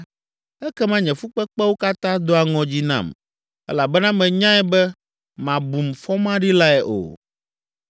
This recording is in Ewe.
ekema nye fukpekpewo katã doa ŋɔdzi nam elabena menyae be màbum fɔmaɖilae o.